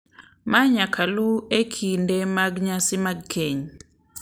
Ma nyaka luw e kinde mag nyasi mag keny.